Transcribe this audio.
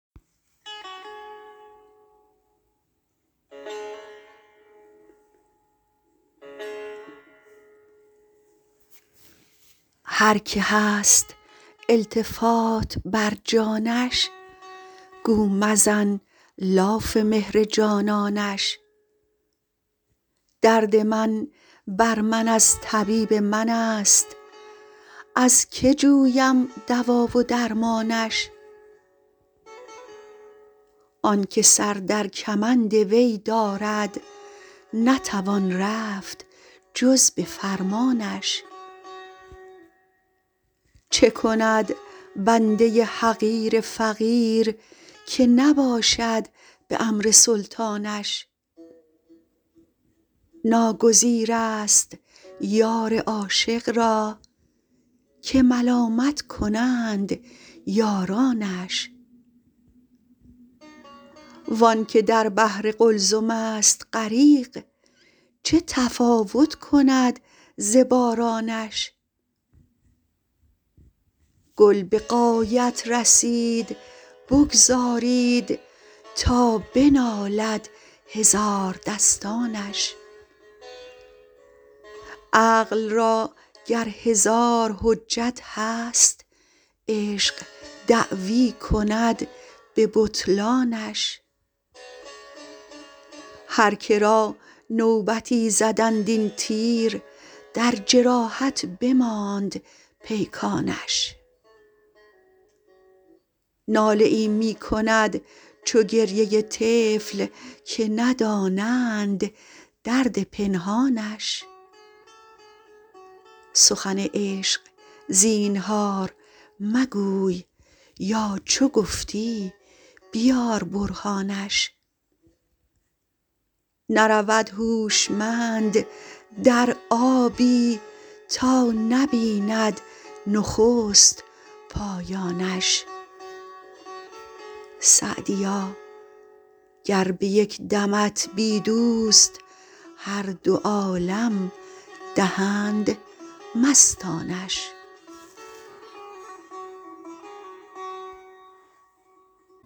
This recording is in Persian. هر که هست التفات بر جانش گو مزن لاف مهر جانانش درد من بر من از طبیب من است از که جویم دوا و درمانش آن که سر در کمند وی دارد نتوان رفت جز به فرمانش چه کند بنده حقیر فقیر که نباشد به امر سلطانش ناگزیر است یار عاشق را که ملامت کنند یارانش وآن که در بحر قلزم است غریق چه تفاوت کند ز بارانش گل به غایت رسید بگذارید تا بنالد هزاردستانش عقل را گر هزار حجت هست عشق دعوی کند به بطلانش هر که را نوبتی زدند این تیر در جراحت بماند پیکانش ناله ای می کند چو گریه طفل که ندانند درد پنهانش سخن عشق زینهار مگوی یا چو گفتی بیار برهانش نرود هوشمند در آبی تا نبیند نخست پایانش سعدیا گر به یک دمت بی دوست هر دو عالم دهند مستانش